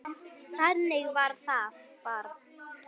Þannig var það bara.